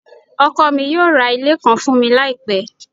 ọkọ mi yóò ra ile kan fun mi laipe